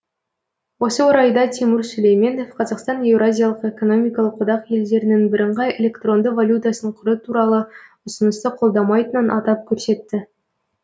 осы орайда тимур сүлейменов қазақстан еуразиялық экономикалық одақ елдерінің бірыңғай электронды валютасын құру туралы ұсынысты қолдамайтынын атап көрсетті